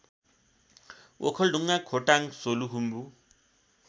Okhaldhunga Khotang Solukhumbu